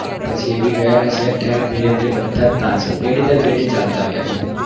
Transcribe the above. પછી એ બી ગયા set થાય ધીરે ધીરે બધા પાછા પેઠી દર પેઠી થી ચાલતા આવ્યા છે